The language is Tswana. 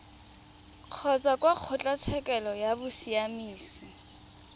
kgotsa kwa kgotlatshekelo ya bosiamisi